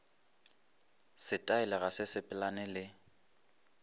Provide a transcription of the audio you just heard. setaele ga se sepelelane le